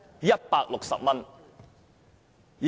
160元。